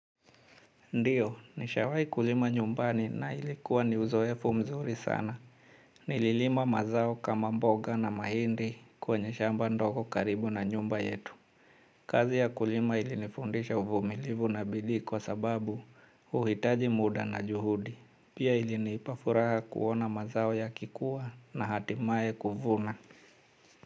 Ndiyo nishawahi kulima nyumbani na ilikuwa ni uzoefu mzuri sana. Nililima mazao kama mboga na mahindi kwenye shamba ndogo karibu na nyumba yetu. Kazi ya kulima ilinifundisha uvumilivu na bidii kwa sababu uhitaji muda na juhudi. Pia ilinipa furaha kuona mazao yakikua na hatimaye kuvuna.